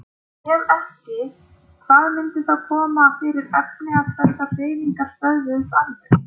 Ef ekki, hvað myndi þá koma fyrir efni ef þessar hreyfingar stöðvuðust alveg?